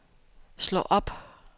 slå op